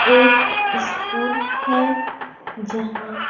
एक स्कूल है यहां--